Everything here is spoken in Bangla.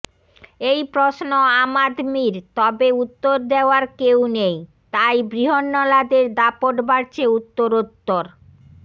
এই প্রশ্ন আম আদমির তবে উত্তর দেওয়ার কেউ নেই তাই বৃহন্নলাদের দাপট বাড়ছে উত্তরোত্তর